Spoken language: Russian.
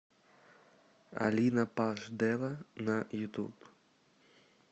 алина паш дэла на ютуб